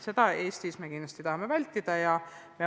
Eestis me tahame seda kindlasti vältida.